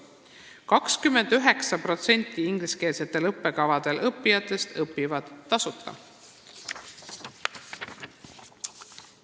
29% ingliskeelsetel õppekavadel õppijatest õpivad tasuta.